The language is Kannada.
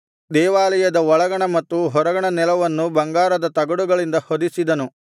ದೇವಾಲಯದ ಒಳಗಣ ಮತ್ತು ಹೊರಗಣ ನೆಲವನ್ನು ಬಂಗಾರದ ತಗಡುಗಳಿಂದ ಹೊದಿಸಿದನು